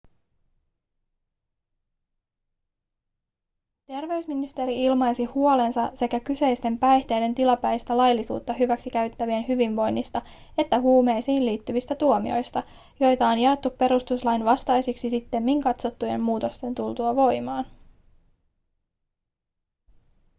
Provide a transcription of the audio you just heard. terveysministeri ilmaisi huolensa sekä kyseisten päihteiden tilapäistä laillisuutta hyväksikäyttävien hyvinvoinnista että huumeisiin liittyvistä tuomioista joita on jaettu perustuslain vastaisiksi sittemmin katsottujen muutosten tultua voimaan